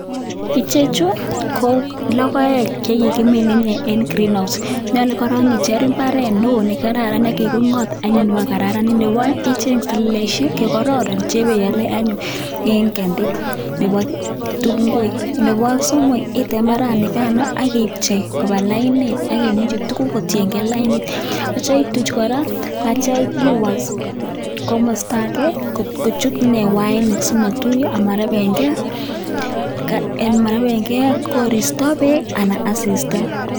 Ichechu ko logoek chekikimin en Greenhouse, nyolu koron icheng' mbaret neo nekiking'ot anyun ba kokararanit, nebo oeng' icheng' seleleisiek chekororon chebeole anyun en kandi nebo ngwek ,nebo somok item mbaranikan akipchei koba lainit akiminji tuguk kotiengei lainit aitya ituch koraa aitya iwas komosto ake kochut ini wainik simotuyo amarebengei koristo, beek ak asista.